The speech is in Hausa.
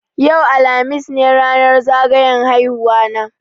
Yau, alhamis, ne ranar zagayan haihuwa na